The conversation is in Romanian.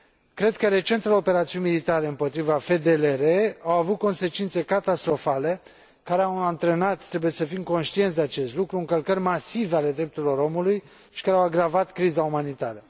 Cred că recentele operațiuni militare împotriva FDLR au avut consecințe catastrofale care au antrenat, trebuie să fim conștienți de acest lucru, încălcări masive ale drepturilor omului și care au agravat criza umanitară.